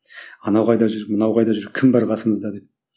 анау қайда жүр мынау қайда жүр кім бар қасымызда деп